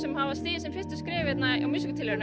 hafa stigið sín fyrstu skref í músíktilraunum